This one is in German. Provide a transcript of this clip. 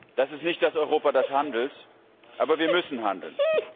Das ist nicht das Europa, das handelt, aber wir müssen handeln.